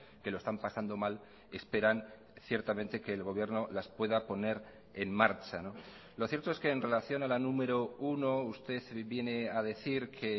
que lo están pasando mal esperan ciertamente que el gobierno las pueda poner en marcha lo cierto es que en relación a la número uno usted viene a decir que